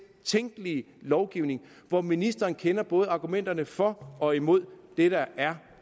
tænkelige lovgivning hvor ministeren kender både argumenterne for og imod det der er